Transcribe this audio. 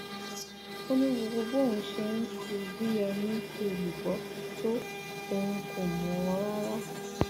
ó ní gbogbo bóun ṣe ń kú u bíi ẹni kú èlùbọ tó òun kò mọ rárá